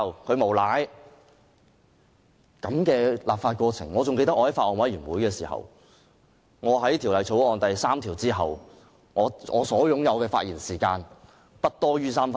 我還記得在法案委員會完成討論《條例草案》第3條後，我的發言時間尚餘不多於3分鐘。